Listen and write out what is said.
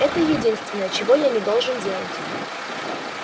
это единственное чего я не должен делать